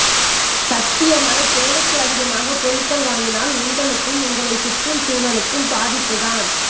சத்தியமாய் தேவைக்கும் அதிகமாக பொருட்கள் வாங்கினால் உங்களுக்கும் உங்களை ச் சுற்றும் சூழலுக்கும் பாதிப்பு தான்